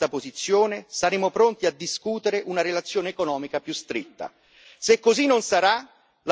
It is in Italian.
E se il Governo britannico rivedrà questa posizione, saremo pronti a discutere una relazione economica più stretta.